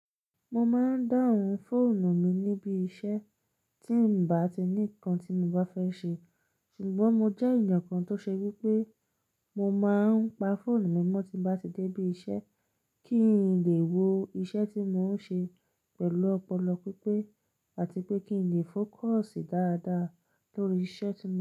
Mo máa ń dáhùn fóònù mi níbí iṣẹ́ tí n bá ti ní nǹkan tí mo bá fẹ́ ṣe, ṣùgbọ́n mo jẹ́ ẹ̀yàn kan tó ṣe wí pé mo máa ń pa fóònù mimọ́ tí n bá ti dé ibi iṣẹ́ kí n lè wo iṣẹ́ tí mò ń ṣe pẹ̀lú ọpọlọ pípé àti pé kí n lè fókọ̀sì dáadáa lórí iṣẹ́ tí mò ń ṣe.